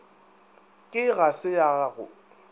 ke ga se ya go